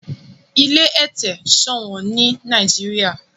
ilé ete ṣowón ní Nàìjíríà.